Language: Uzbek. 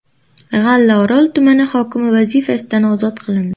G‘allaorol tumani hokimi vazifasidan ozod qilindi.